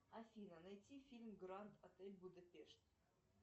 афина найти фильм гранд отель будапешт